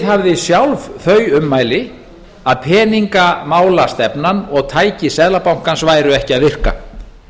viðhafði sjálf þau ummæli að peningamálastefnan og tæki seðlabankann væru ekki að virka